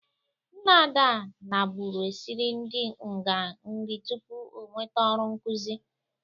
Nna Ada nabụrụ esiri ndị nga nri tupu o nwete ọrụ nkụzi.